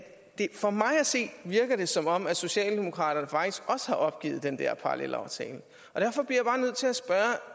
at for mig at se virker det som om socialdemokraterne faktisk har opgivet den der parallelaftale og derfor bliver